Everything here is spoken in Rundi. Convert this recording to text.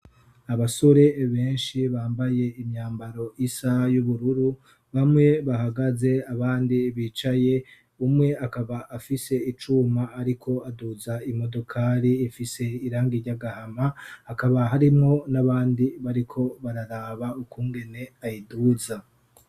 abasore benshi bambaye imyambaro yisaha y'ubururu bamwe bahagaze abandi bicaye umwe akaba afise icuma ariko aduza imodokali ifise irangi ryagahama hakaba harimwo n'abandi bariko bararaba ukungene ayiduza